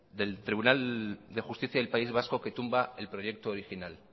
del tribunal de justicia del país vasco que tumba el proyecto original